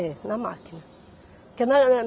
É, na máquina, porque na